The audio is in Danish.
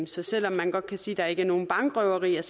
så selv om man godt kan sige at der ikke er nogen bankrøverier